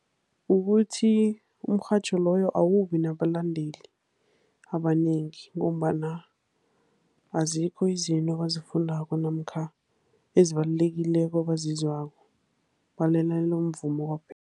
Kukuthi umrhatjho loyo awubi nabalandeli abanengi, ngombana azikho izinto abazifundako namkha ezibalulekileko abazizwako. Balalele umvumo kwaphela.